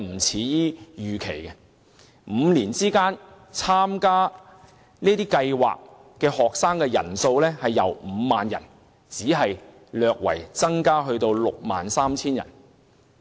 在這5年間，參加這些交流團的學生人數，只由 50,000 人略增至 63,000 人。